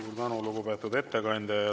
Suur tänu, lugupeetud ettekandja!